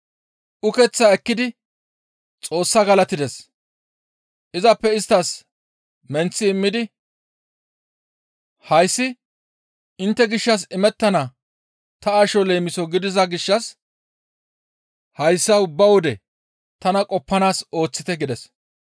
Ukeththaa ekkidi Xoossaa galatides; izappe isttas menththi immidi, «Hayssi intte gishshas imettana ta asho leemiso gidiza gishshas hayssa ubba wode tana qoppanaas ooththite» gides.